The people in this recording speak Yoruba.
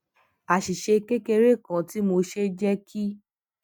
àṣìṣe kékeré kan tí mo ṣe jé kí